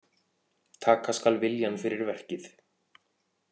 Taka skal viljann fyrir verkið.